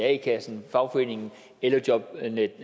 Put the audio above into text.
a kassen fagforeningen eller jobnetdk